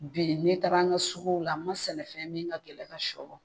Bi ne taara n ka suguw la n ma sɛnɛfɛn min ka gɛlɛ ka sɔ